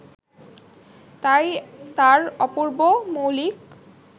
তাই তার অপূর্ব, মৌলিক